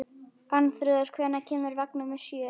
Arnþrúður, hvenær kemur vagn númer sjö?